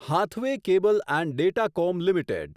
Hathway cable and Datacom limited